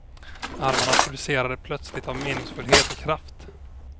Armarna pulserade plötsligt av meningsfullhet och kraft.